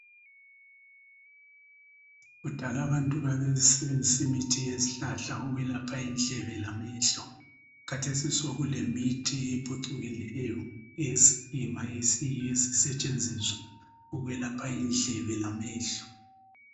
Kudal' abantu babesebenzisa imithi yezihlahla ukwelapha indlebe lamehlo. Kathesi sokulemithi ephucukileyo esiyiyo esisetshenziswa indlebe lamehlo.